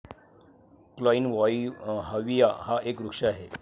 Kleinhovia हा एक वृक्ष आहे.